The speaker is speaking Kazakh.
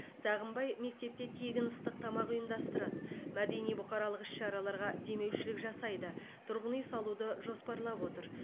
сағынбай мектепте тегін ыстық тамақ ұйымдастырады мәдени бұқаралық іс шараларға демеушілік жасайды тұрғын үй салуды жоспарлап отыр